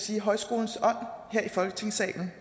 sige i højskolens ånd her i folketingssalen